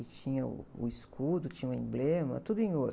E tinha o, o escudo, tinha o emblema, tudo em ouro.